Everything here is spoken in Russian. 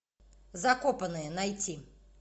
закопанные найти